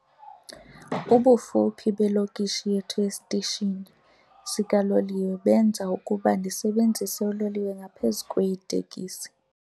Ubufuphi belokishi yethu esitishini sikaloliwe benza ukuba ndisebenzise uloliwe ngaphezu kweetekisi.